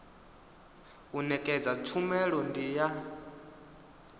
u nekedza tshumelo ndi ya